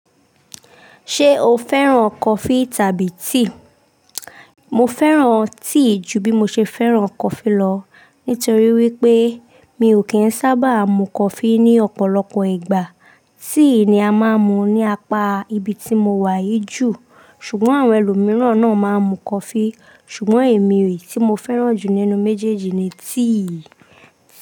Ṣé o fẹ́ràn coffee tàbí tea? Mo fẹ́ràn tea ju bí mo ṣe fẹ́ràn coffee lọ, nítorí wípé mi ò kí ń sábà mu coffee ní ọ̀pọ̀lọpọ̀ ìgbà. Tea ni a máa ń mu ní apá ibi tí mo wà yí jù, ṣùgbọ́n àwọn ẹlòmíràn náà máa ń mu coffee. Ṣùgbọ́n èmi èyí tí mo fẹ́ràn jù nínú méjèèjì ni tea.